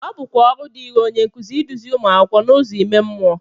ọ bụkwa ọrụ dịịrị onye nkụzi iduzi ụmụ akwụkwọ n’ụzọ ime mmụọ